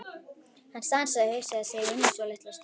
Hann stansaði og hugsaði sig um svolitla stund.